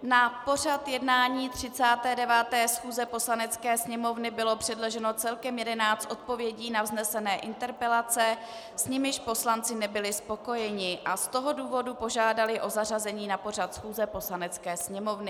Na pořad jednání 39. schůze Poslanecké sněmovny bylo předloženo celkem 11 odpovědí na vznesené interpelace, s nimiž poslanci nebyli spokojeni a z toho důvodu požádali o zařazení na pořad schůze Poslanecké sněmovny.